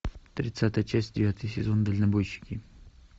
тридцатая часть девятый сезон дальнобойщики